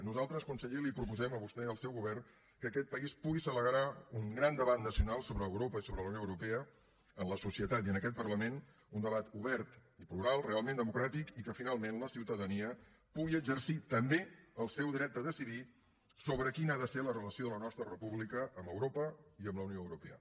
nosaltres conseller els proposem a vostè i al seu govern que aquest país pugui celebrar un gran debat nacional sobre europa i sobre la unió europea en la societat i en aquest parlament un debat obert i plural realment democràtic i que finalment la ciutadania pugui exercir també el seu dret a decidir sobre quina ha de ser la relació de la nostra república amb europa i amb la unió europea